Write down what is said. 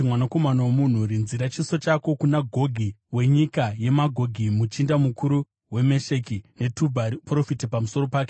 “Mwanakomana womunhu, rinzira chiso chako kuna Gogi, wenyika yeMagogi, muchinda mukuru weMesheki neTubhari; uprofite pamusoro pake